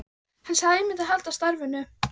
Hann sagði að ég myndi halda starfinu.